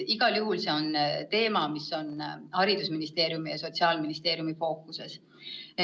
Igal juhul see on teema, mis on haridusministeeriumi ja Sotsiaalministeeriumi fookuses.